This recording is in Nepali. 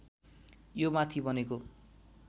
यो माथि बनेको